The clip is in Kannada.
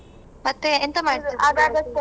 ಮತ್ತೆ ಎಂತ